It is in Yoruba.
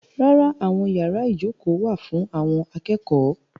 Rárá, àwọn yàrá ìjókòó wà fún àwọn akẹ́kọ̀ọ́.